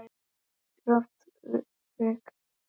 En kaffidrykkja er bönnuð á heimilinu.